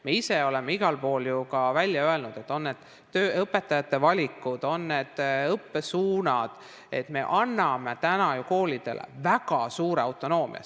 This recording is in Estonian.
Me ise oleme igal pool ju ka välja öelnud, et on need õpetajate valikud või on need õppesuunad – me anname koolidele väga suure autonoomia.